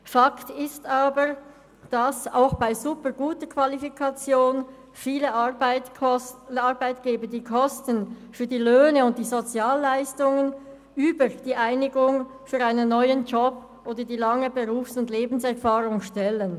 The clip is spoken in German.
Fakt ist aber, dass auch bei superguter Qualifikation viele Arbeitgeber die Kosten für die Löhne und die Sozialleistungen über die Einigung auf einen neuen Job oder die lange Berufs- und Lebenserfahrung stellen.